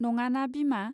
नङाना बिमा.